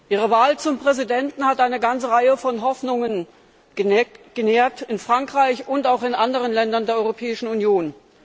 Ihre Wahl zum Präsidenten hat eine ganze Reihe von Hoffnungen genährt in Frankreich und auch in anderen Ländern der Europäischen Union.